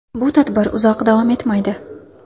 Bu tadbir uzoq davom etmaydi.